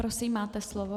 Prosím, máte slovo.